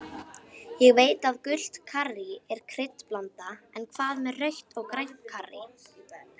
Ég veit að gult karrí er kryddblanda en hvað með rautt og grænt karrí.